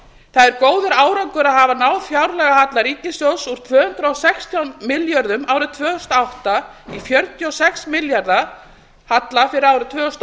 það er góður árangur af að hafa náð fjárlagahalla ríkissjóðs úr tvö hundruð og sextán milljörðum árið tvö þúsund og átta í fjörutíu og sex milljarða halla fyrir árið tvö þúsund og